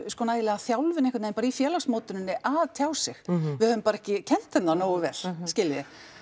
nægilega þjálfun bara einhvern veginn í að tjá sig við höfum bara ekki kennt þeim það nógu vel skiljiði